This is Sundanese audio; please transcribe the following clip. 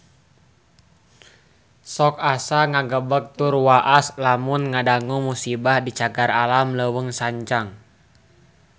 Sok asa ngagebeg tur waas lamun ngadangu musibah di Cagar Alam Leuweung Sancang